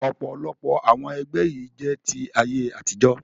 Ọ̀pọ̀lọpọ̀ àwọn ẹgbẹ́ yìí jẹ́ ti ayé àtijọ́